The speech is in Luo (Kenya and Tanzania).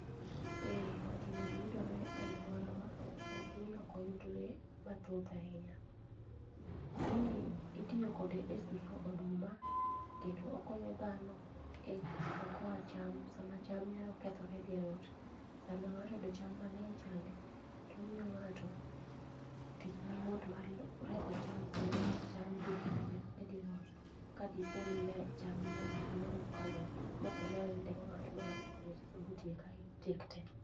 Eh gini yudore e aluorawa lakini ok oyudre mathoth ahinya. Gini itiyo kode e suso oduma kendo okonyo dhano e okoa cham sama cham nyalo kethorey e dier ot. Sama ng'ato oyudo cham mang'eny chande, to omiyo ng'ato tich mayot mar reso cham sama cham dhi kethore e dier ot kadipo ni cham ng'eny ahinya mokalo maok onyal ndiko ng'ato ma ng'ato konye suso matiek te.